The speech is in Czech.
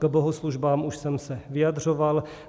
K bohoslužbám už jsem se vyjadřoval.